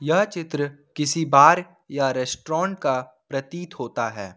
यह चित्र किसी बार या रेस्टोरेंट का प्रतीत होता है।